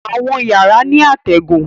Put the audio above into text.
Àwọn yàrá ní atégùn.